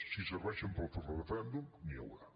si serveixen per fer el referèndum n’hi haurà